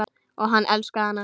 Og hann elskaði hana.